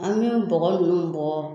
An bɛ bɔgɔ ninnu bɔ